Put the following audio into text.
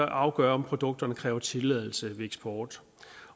afgøre om produktet kræver tilladelse ved eksport